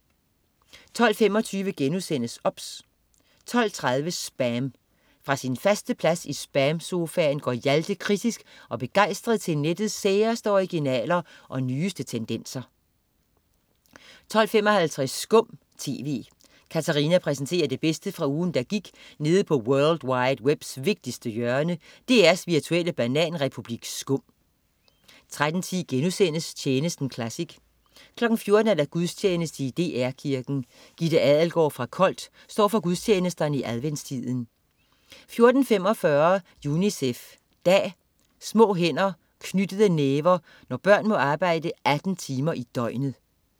12.25 OBS* 12.30 SPAM. Fra sin faste plads i SPAM-sofaen går Hjalte kritisk og begejstret til nettets særeste originaler og nyeste tendenser 12.55 Skum TV. Katarina præsenterer det bedste fra ugen, der gik nede på world wide webs vigtigste hjørne, DR's virtuelle bananrepublik SKUM 13.10 Tjenesten classic* 14.00 Gudstjeneste i DR Kirken. Gitte Adelgaard fra Kolt står for gudstjenesterne i adventstiden 14.45 UNICEF dag. Små hænder og knyttede næver. Når børn må arbejde 18 timer i døgnet